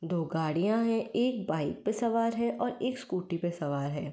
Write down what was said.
दो गाड़ियाॅं है एक बाइक पे सवार है और एक स्कूटी पे सवार है।